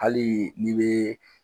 Hali ni be